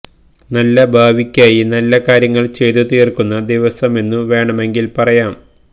നല്ല ഭാവിയ്ക്കായി നല്ല കാര്യങ്ങള് ചെയ്തു തീര്ക്കുന്ന ദിവസമെന്നു വേണമെങ്കില് പറയാം